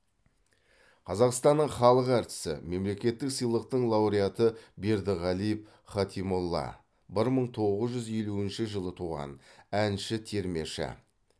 қазақстанның халық әртісі мемлекеттік сыйлықтың лауреаты бердіғалиев хатимолла бір мың тоғыз жүз елуінші жыл туған әнші термеші